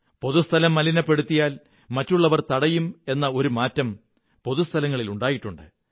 പൊതുസ്ഥലം മലിനപ്പെടുത്തിയാൽ മറ്റുള്ളവർ തടയും എന്ന ഒരു മാറ്റം പൊതു സ്ഥലങ്ങളിൽ ഉണ്ടായിട്ടുണ്ട്